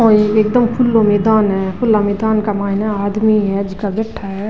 ये एकदम खुलो मैदान है खुला मैदान का मे एक आदमी है जीका --